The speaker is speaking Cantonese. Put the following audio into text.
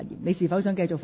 你是否想繼續發言？